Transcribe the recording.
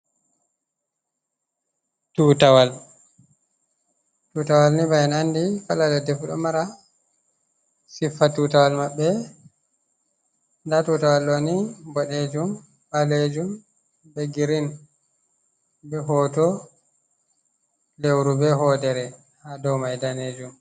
Tutawal tutawalni ba en andi kala leddfu ɗo mara siffa tutawal maɓɓe, nda tutawal ɗoni bodejum balejum be green be hoto lewru be hodere hado mai danejum.